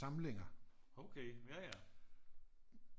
Samlinger